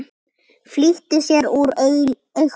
Flýtir sér úr augsýn.